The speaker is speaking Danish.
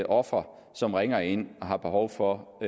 offer som ringer ind og har behov for